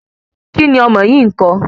Kí ni ọmọ yìí ńko?